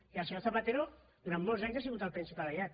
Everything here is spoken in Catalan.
i el senyor zapatero durant molts anys ha sigut el principal aliat